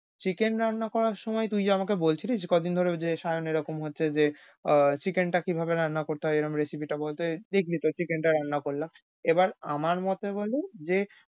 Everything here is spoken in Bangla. chicken রান্না করার সময় তুই যে আমাকে বলছিলি কদিন ধরে ঐযে সায়ন এরকম হচ্ছে যে ও chicken টা কিভাবে রান্না করতে হয়। এরম recipe টা বলতে দেখলি তো chicken টা রান্না করলাম। এবার আমার মতে হল যে,